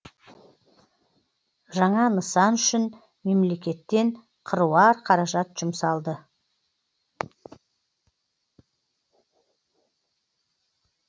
жаңа нысан үшін мемлекеттен қыруар қаражат жұмсалды